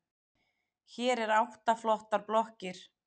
Hér eru átta flottar blokkir.